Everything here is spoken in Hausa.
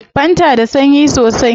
Fantan da sanyi sosai